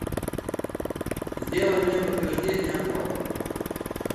сделай мне подтверждение оплаты